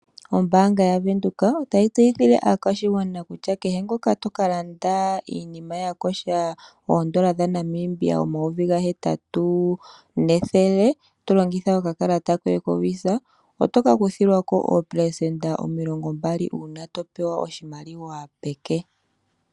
Ombanga ya venduka ota yi tseyithile aakwashigwana kutya kehe ngoka toka landa iinima ya kosha oondola dha Namibia omayovi ga hetatu nethele limwe, to longitha oka kalata koye ko Visa oto ka kuthilwako oopelesenda omilongo mbali uuna to pewa oshimaliwa peke.